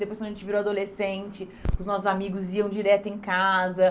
Depois quando a gente virou adolescente, os nossos amigos iam direto em casa.